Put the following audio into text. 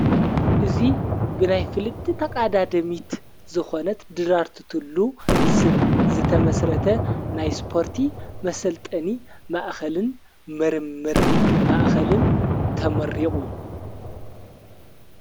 እዙይ ብናይ ፍልቲ ተቓዳ ደሚት ዝኾነት ድራርት እንትሉ ስብ ዘተመሥረተ ናይ ስጶርቲ መሰልጠኒ ማእኸልን ምርምር ማእኸልን ተመሪቑ።